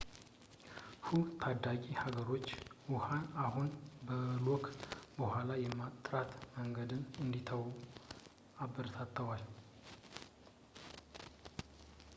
ሑ ታዳጊ ሀገሮች ውሀን አሁን በክሎ በኋላ የማጥራት መንገድን እንዲተዉ አበረታተዋል